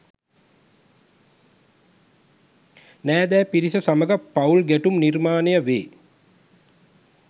නෑදෑ පිරිස සමඟ පවුල් ගැටුම් නිර්මාණය වේ.